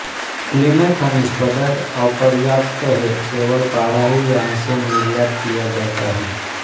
Italy में खनिज पदार्थ अपर्याप्त हैं केवल पारा ही यहाँ से निर्यात किया जाता है